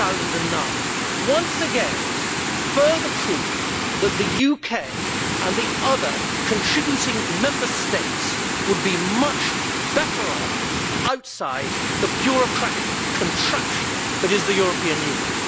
2009. Once again, here is further proof that the UK and the other contributing Member States would be much better off outside the bureaucratic contraption that is the European Union.